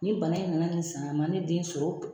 Ni bana in nana nin san a ma ne den sɔrɔ.